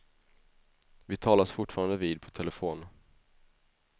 Vi talas fortfarande vid på telefon.